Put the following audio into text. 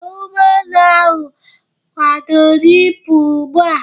Ee, ụgbọ elu ahụ akwadoro ịpụ ugbu a